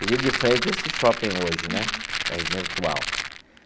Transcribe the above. Resido de frente a esse shopping hoje né minha residência atual.